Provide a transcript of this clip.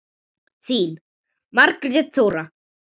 Þín, Margrét Þóra.